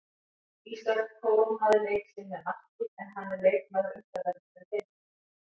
Ísak kórónaði leik sinn með marki en hann er leikmaður umferðarinnar í deildinni.